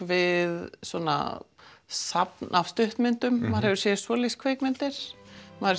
við safn af stuttmyndum maður hefur séð svoleiðis kvikmyndir maður